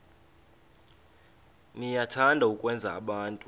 niyathanda ukwenza abantu